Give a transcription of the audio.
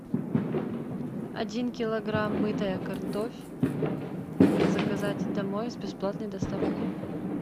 один килограмм мытая картофь заказать домой с бесплатной доставкой